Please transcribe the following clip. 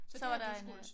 Så var der en øh